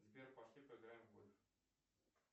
сбер пошли поиграем в гольф